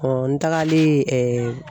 n tagalen